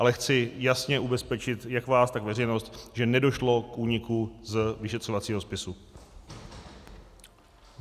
Ale chci jasně ubezpečit jak vás, tak veřejnost, že nedošlo k úniku z vyšetřovacího spisu.